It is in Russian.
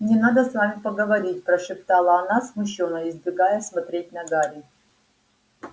мне надо с вами поговорить прошептала она смущённо избегая смотреть на гарри